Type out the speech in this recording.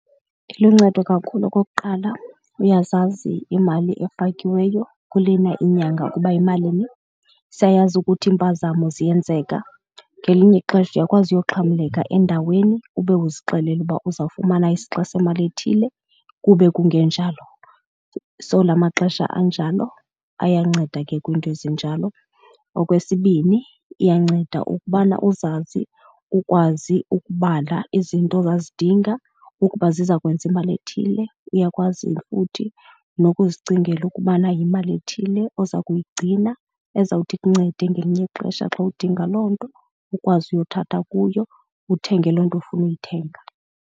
Iluncedo kakhulu okokuqala, uyazazi imali efakiweyo kulena inyanga ukuba yimalini. Siyayazi ukuthi iimpazamo ziyenzeka, ngelinye ixesha uyakwazi uyoxhamleka endaweni ube uzixelele uba uzawufumana isixa semali ethile kube kungenjalo. So la maxesha anjalo ayanceda ke kwiinto ezinjalo. Okwesibini iyanceda ukubana uzazi, ukwazi ukubala izinto ozazidinga ukuba ziza kwenza imali ethile. Uyakwazi futhi nokuzicingela ukubana yimali ethile oza kuyigcina ezawuthi ikuncede ngelinye ixesha xa udinga loo nto, ukwazi uyothatha kuyo uthenge loo nto ofuna ukuyithenga.